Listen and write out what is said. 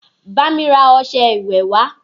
Bá mi ra ọșẹ ìwẹ̀ wá!